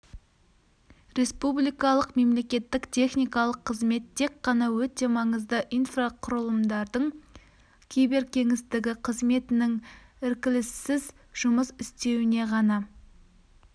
республикалық мемлекеттік техникалық қызмет тек қана өте маңызды инфрақұрылымдардың киберкеңістігі қызметінің іркіліссіз жұмыс істеуіне ғана